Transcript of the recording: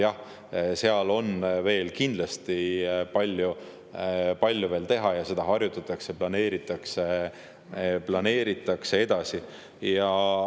Jah, seal on veel kindlasti palju-palju teha ja seda harjutatakse ja planeeritakse edasi.